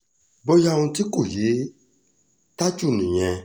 bóyá ohun tí kò yé tájù nìyẹn